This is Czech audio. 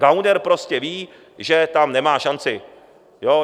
Gauner prostě ví, že tam nemá šanci.